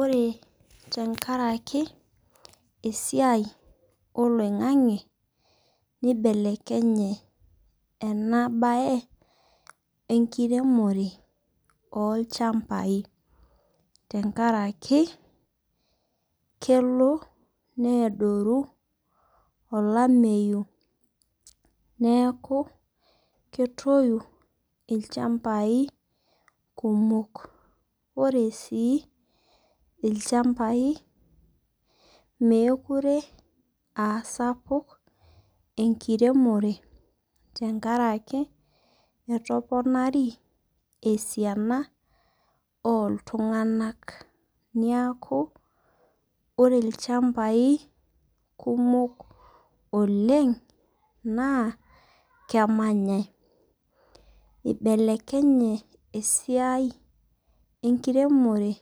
Ore tenkaraki esiai oloing'ang'e neibelekenye ena baye enkiremore oolchambai, tenkaraki elo neaoru olameyu neaku ketoyu ilchambai kumok, ore sii ilchambai mekure aa sapuk enkiremore enkarake etoponari esiana ooltung'anak, neaku ore ilchambai kumok oleng' naa kemanyai, eibelekenye esiai enkiremore,